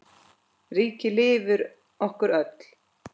Ríkið lifir okkur öll.